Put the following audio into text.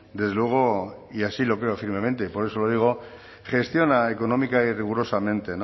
desde luego y así lo creo firmemente y por eso lo digo gestiona económica y rigurosamente